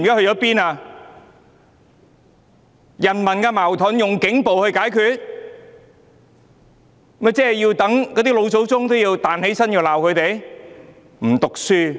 人民內部矛盾竟用警暴解決，連老祖宗也要彈起來罵他們。